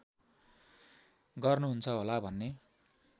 गर्नुहुन्छ होला भन्ने